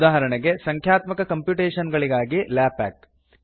ಉದಾಹರಣೆಗ ಸಂಖ್ಯಾತ್ಮಕ ಕಂಪ್ಯುಟೇಶನ್ ಗಳಿಗಾಗಿ ಲಾಪ್ಯಾಕ್